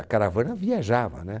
A caravana viajava, né?